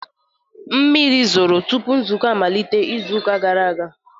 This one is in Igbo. Mmiri zoro tupu nzukọ amalite izu ụka gara aga